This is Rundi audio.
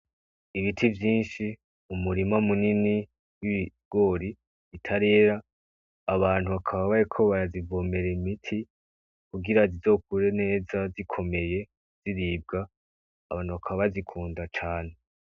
Ibiti vyinshi umurima munini w' ibigori bitarera abantu bakaba bariko barazivomera imiti kugira zizokure neza zikomeye ziribwa abantu abantu bakaba bazikunda cane.